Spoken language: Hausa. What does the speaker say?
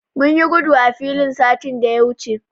Mun yi gudu a filin satin da ya wuce.